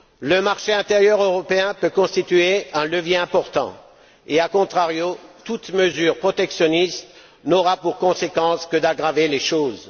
Le marché intérieur européen peut constituer un levier important et, a contrario, toute mesure protectionniste n'aura pour conséquence que d'aggraver les choses.